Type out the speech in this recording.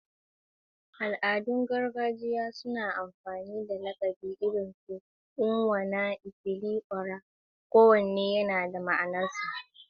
Al'adun gargajiya suna amfani da lakabi irin su Onwa-na-etili-ora, kowanne yana da ma'anarsa.